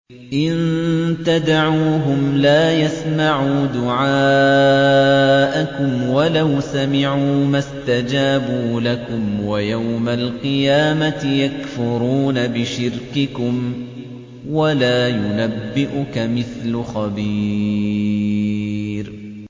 إِن تَدْعُوهُمْ لَا يَسْمَعُوا دُعَاءَكُمْ وَلَوْ سَمِعُوا مَا اسْتَجَابُوا لَكُمْ ۖ وَيَوْمَ الْقِيَامَةِ يَكْفُرُونَ بِشِرْكِكُمْ ۚ وَلَا يُنَبِّئُكَ مِثْلُ خَبِيرٍ